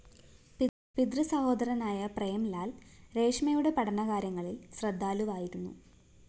പിതൃസഹോദരനായ പ്രേംലാല്‍ രേഷ്മയുടെ പഠന കാര്യങ്ങളില്‍ ശ്രദ്ധാലുവായിരുന്നു